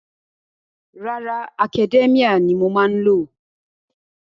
Rárá, Academia ni mo má ń lò.